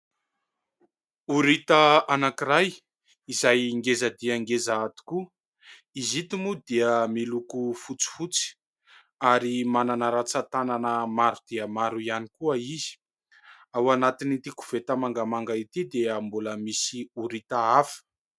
Orita anankiray izay ngeza dia ngeza tokoa, izy ito moa dia miloko fotsifotsy, ary manana ratsan-tanana maro dia maro ihany koa izy. Ao anatin'ity koveta mangamanga ity dia mbola misy orita afa.